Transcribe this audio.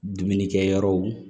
Dumunikɛyɔrɔw